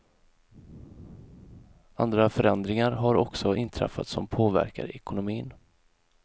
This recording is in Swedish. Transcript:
Andra förändringar har också inträffat som påverkar ekonomin.